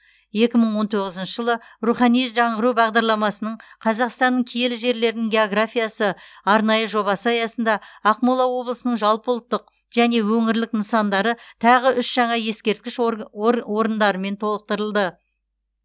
екі мың он тоғызыншы жылы рухани жаңғыру бағдарламасының қазақстанның киелі жерлерінің географиясы арнайы жобасы аясында ақмола облысының жалпыұлттық және өңірлік нысандары тағы үш жаңа ескерткіш орг ор орындарымен толықтырылды